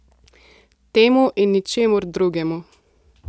Temu in ničemur drugemu.